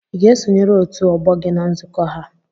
ị ga-esonyere otu ọgbọ gị na nzukọ ha?